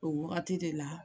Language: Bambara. O wagati de la